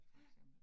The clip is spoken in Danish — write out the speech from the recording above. Ja